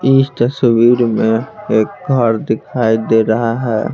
इस तस्वीर में एक घर दिखाई दे रहा है।